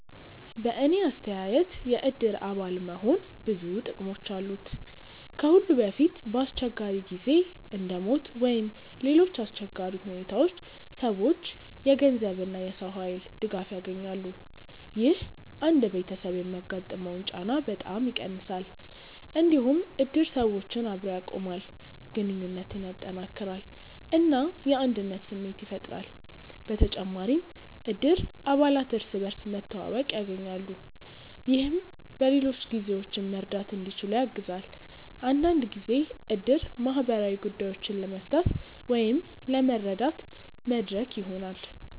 በእኔ አስተያየት የእድር አባል መሆን ብዙ ጥቅሞች አሉት። ከሁሉ በፊት በአስቸጋሪ ጊዜ እንደ ሞት ወይም ሌሎች አሰቸጋሪ ሁኔታዎች ሰዎች የገንዘብ እና የሰው ኃይል ድጋፍ ያገኛሉ። ይህ አንድ ቤተሰብ የሚያጋጥመውን ጫና በጣም ይቀንሳል። እንዲሁም እድር ሰዎችን አብሮ ያቆማል፣ ግንኙነትን ያጠናክራል እና የአንድነት ስሜት ያፈጥራል። በተጨማሪም እድር አባላት እርስ በርስ መተዋወቅ ያገኛሉ፣ ይህም በሌሎች ጊዜዎችም መርዳት እንዲችሉ ያግዛል። አንዳንድ ጊዜ እድር ማህበራዊ ጉዳዮችን ለመፍታት ወይም ለመረዳት መድረክ ይሆናል።